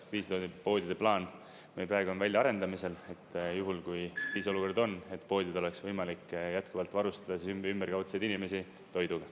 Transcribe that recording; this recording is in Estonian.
Kriisipoodide plaan meil on praegu väljaarendamisel, et juhul kui kriisiolukord on, poodides oleks võimalik jätkuvalt varustada ümberkaudseid inimesi toiduga